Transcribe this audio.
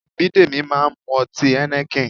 Bidemi máa ń mu ọtí Heineken